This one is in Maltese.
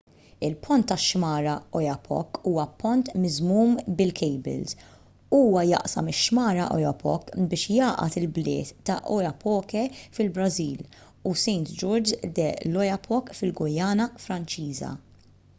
il-pont tax-xmara oyapock huwa pont miżmum bil-kejbils huwa jaqsam ix-xmara oyapock biex jgħaqqad il-bliet ta' oiapoque fil-brażil u saint-georges de l'oyapock fil-guyana franċiża